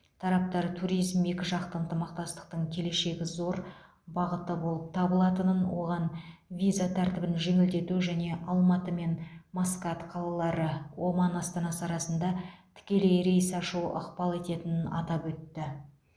тараптар туризм екіжақты ынтымақтастықтың келешегі зор бағыты болып табылатынын оған виза тәртібін жеңілдету және алматы мен маскат қалалары оман астанасы арасында тікелей рейс ашу ықпал ететінін атап өтті